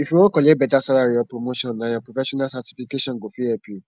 if u wan collect beta salary or promotion nah ur professional certification go fit help u